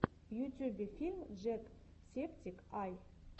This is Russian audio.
в ютюбе фильм джек септик ай